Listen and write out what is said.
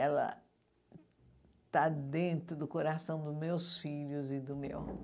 Ela está dentro do coração dos meus filhos e do meu.